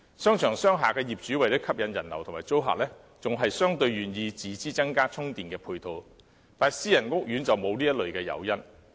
商場和商廈的業主為了吸引人流及租客，相對願意自資增加充電配套，但私人屋苑則沒有這類誘因。